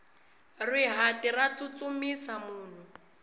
rihati ra tsutsumisa munhu